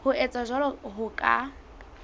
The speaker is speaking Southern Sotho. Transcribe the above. ho etsa jwalo ho ka